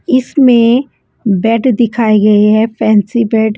इसमें बेड दिखाए गए हैं फैंसी बेड ।